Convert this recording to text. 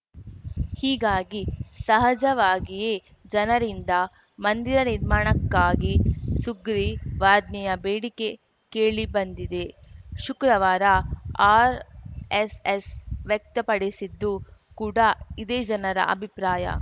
ಹೀಗಾಗಿ ಸಹಜವಾಗಿಯೇ ಜನರಿಂದ ಮಂದಿರ ನಿರ್ಮಾಣಕ್ಕಾಗಿ ಸುಗ್ರೀವಾಜ್ಞೆಯ ಬೇಡಿಕೆ ಕೇಳಿಬಂದಿದೆ ಶುಕ್ರವಾರ ಆರ್‌ಎಸ್‌ಎಸ್‌ ವ್ಯಕ್ತಪಡಿಸಿದ್ದು ಕೂಡಾ ಇದೇ ಜನರ ಅಭಿಪ್ರಾಯ